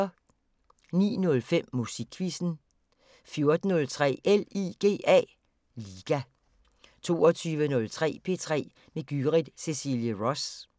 09:05: Musikquizzen 14:03: LIGA 22:03: P3 med Gyrith Cecilie Ross